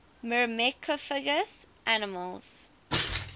myrmecophagous mammals